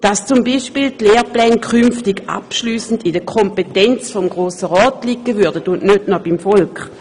So könnten beispielsweise die Lehrpläne künftig abschliessend in der Kompetenz des Grossen Rats liegen, und nicht auch noch beim Volk.